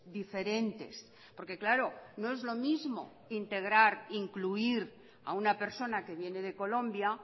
diferentes porque claro no es lo mismo integrar incluir a una persona que viene de colombia